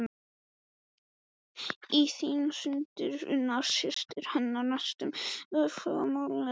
Í því sýndi Unnur systir hennar næstum ofurmannlegt hugrekki.